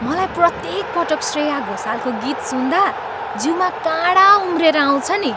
मलाई प्रत्येक पटक श्रेया घोषालको गीत सुन्दा, जिउमा काँडा उम्रिएर आउँछ नि।